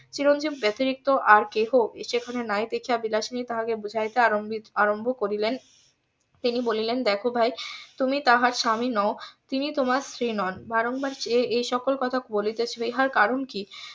চিরঞ্জিব বাতিরিক্ত আর কেহ সেখানে নাই দেখিয়া বিলাসিনী তাহাকে বুঝাইতে আরম্ভ করিলেন তিনি বলিলেন দেখো ভাই তুমি তাহার স্বামী নও তিনি তোমার স্ত্রী নন বারংবার এই সকল কথা বলিতেছিল ইহার কারণ কি?